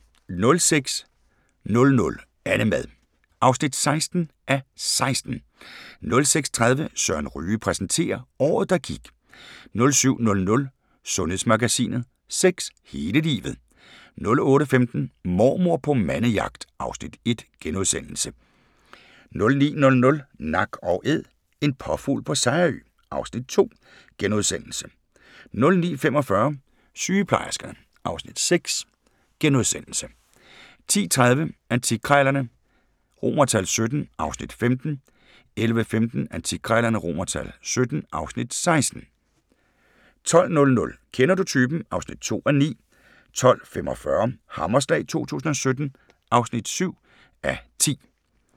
06:00: Annemad (16:16) 06:30: Søren Ryge præsenterer – Året der gik 07:00: Sundhedsmagasinet: Sex hele livet 08:15: Mormor på mandejagt (Afs. 1)* 09:00: Nak & Æd – en påfugl på Sejerø (Afs. 2)* 09:45: Sygeplejerskerne (Afs. 6)* 10:30: Antikkrejlerne XVII (Afs. 15) 11:15: Antikkrejlerne XVII (Afs. 16) 12:00: Kender du typen? (2:9) 12:45: Hammerslag 2017 (7:10)